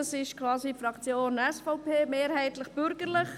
Das ist quasi die Fraktion SVP, mehrheitlich bürgerlich.